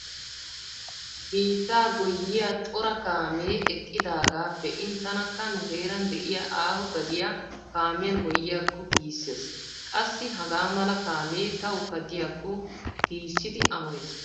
Biittaa goyyiya cora kaamee eqqidaagaa be'in tanakka nu heeran de'iya aaho gadiya kaamiyan goyyiyaakko giissees. Qassi hagaa mala kaamee tawukka diyakko giissidi amoyees.